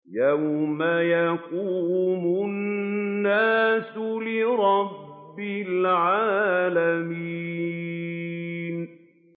يَوْمَ يَقُومُ النَّاسُ لِرَبِّ الْعَالَمِينَ